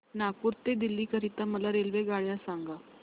नागपुर ते दिल्ली करीता मला रेल्वेगाड्या सांगा